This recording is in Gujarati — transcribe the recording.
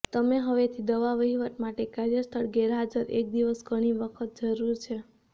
તમે હવેથી દવા વહીવટ માટે કાર્યસ્થળ ગેરહાજર એક દિવસ ઘણી વખત જરૂર છે